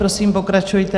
Prosím, pokračujte.